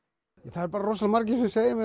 eru bara rosalega margir sem segja mér